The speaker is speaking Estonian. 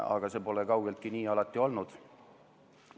Aga see pole kaugeltki alati nii olnud.